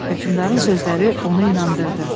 Hökümdarın sözləri onu inandırdı.